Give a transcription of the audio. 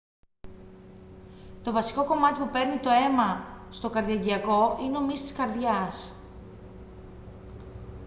το βασικό κομμάτι που παίρνει το αίμα στο καρδιαγγειακό είναι ο μυς της καρδιάς